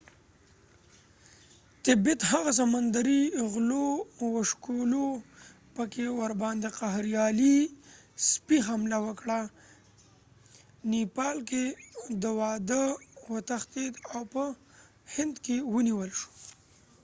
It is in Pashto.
هغه سمندري غلو وشوکولو په tibet کې ورباندې قهریدلي سپۍ خمله وکړه په nepal کې د واده وتښتید او په هند کې ونیول شو